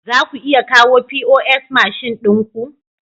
Za ku iya kawo pos mashin ɗin ku?